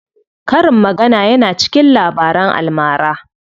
Karin magana yana cikin Labaran almara.